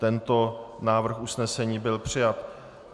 Tento návrh usnesení byl přijat.